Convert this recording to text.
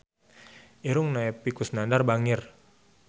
Irungna Epy Kusnandar bangir